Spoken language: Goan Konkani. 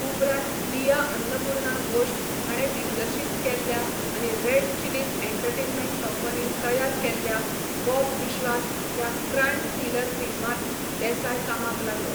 उपरांत दिया अन्नपूर्णा घोष हाणें दिग्दर्शीत केल्ल्या आनी रेड चिलीज एंटरटेनमेंट कंपनीन तयार केल्ल्या 'बॉब विश्वास' ह्या क्रायम थ्रिलर फिल्मांत देसाय कामाक लागलो.